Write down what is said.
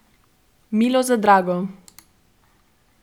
Milo za drago.